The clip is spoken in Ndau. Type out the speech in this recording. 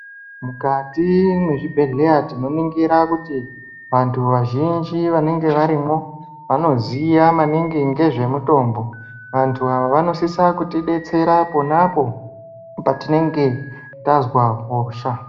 Mukati mezvibhedhleya tinoningira kuti vantu vazhinji vanoge varimwo vanoziya maningi ngezvemutombo. Vantu ava vanosisa kutibetsera ponapo patinenge tazwa hosha.